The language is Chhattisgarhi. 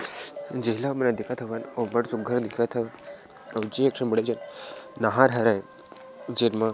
जेला हमन देखत हवन ओ अब्बड़ सुघघर दिखत हवे अऊ जे एक ठो बड़े जान नाहर हवे जेन मा--